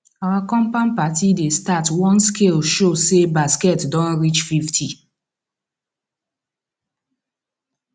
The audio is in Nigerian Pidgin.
our compound party dey start once scale show say basket don reach fifty